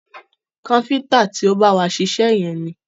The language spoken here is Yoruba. Káfíntà ti o má bá wa ṣiṣẹ́ yẹn ni.